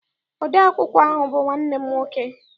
Ode akwụkwọ ahụ bụ nwanne m nwoke.